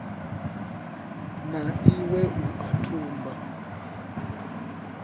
na iwe u a tumba